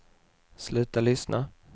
sluta lyssna